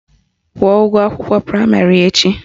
Kwụọ ụgwọ akwụkwọ praịmarị echi!